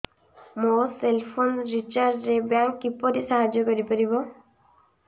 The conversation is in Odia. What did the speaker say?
ମୋ ସେଲ୍ ଫୋନ୍ ରିଚାର୍ଜ ରେ ବ୍ୟାଙ୍କ୍ କିପରି ସାହାଯ୍ୟ କରିପାରିବ